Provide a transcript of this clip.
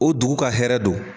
O dugu ka hɛrɛ don